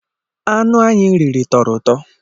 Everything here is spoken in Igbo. Anụ anyi riri tọrọ ụtọ